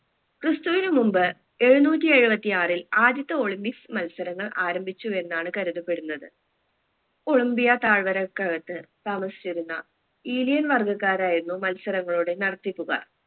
ക്രിസ്തുവിന് മുമ്പ് എഴുന്നൂറ്റി എഴുവത്തി ആറിൽ ആദ്യത്തെ olympics മത്സരങ്ങൾ ആരംഭിച്ചു എന്നാണ് കരുതപ്പെടുന്നത് ഒളിംബിയ തായ്‌വരകകക്കത് താമസിച്ചിരുന്ന ഈലിയൻ വർഗക്കാരായിരുന്നു മത്സരങ്ങളുടെ നടത്തിപ്പുകാർ